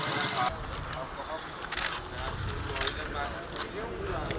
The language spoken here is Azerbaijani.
Hə, bu maşın da dəymişdi, yəqin o da zədələnib.